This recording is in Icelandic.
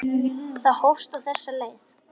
Það hófst á þessa leið.